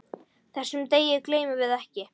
Þessum degi gleymum við ekki.